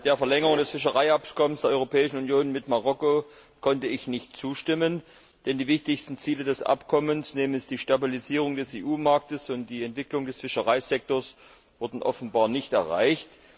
Der Verlängerung des Fischereiabkommens der Europäischen Union mit Marokko konnte ich nicht zustimmen. Denn die wichtigsten Ziele des Abkommens, nämlich die Stabilisierung des EU Marktes und die Entwicklung des Fischereisektors, wurden offenbar nicht erreicht.